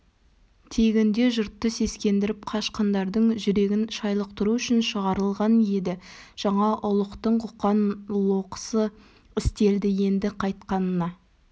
тегінде жұртты сескендіріп қашқындардың жүрегін шайлықтыру үшін шығарылған еді жаңа ұлықтың қоқан-лоқысы істелді енді қайтқанына